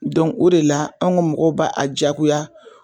Dɔnku o de la an ka mɔgɔ b'a jagoya